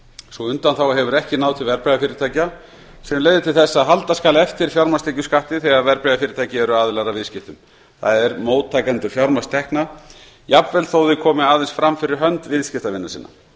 sú undanþága hefur ekki náð til verðbréfafyrirtækja sem leiðir til þess að halda skal eftir fjármagnstekjuskatti þegar verðbréfafyrirtæki eru aðilar að viðskiptum það er móttakendur fjármagnstekna jafnvel þótt þau komi aðeins fram fyrir hönd viðskiptavina sinna